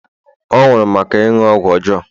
ọ nwụrụ maka ịṅụ ọgwụ ọjọọ